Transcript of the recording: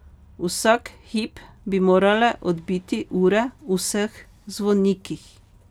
Vsak hip bi morale odbiti ure v vseh zvonikih.